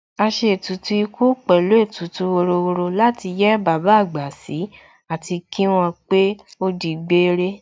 A ṣe ètùtù ikú pẹ̀lú ètùtù wọ́rọ́wọ́ láti yẹ́ bàbá àgbà sí àti kí wọ́n pé ó di gbére